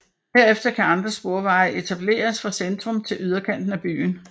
Herefter kan andre sporveje etableres fra centrum til yderkanten af byen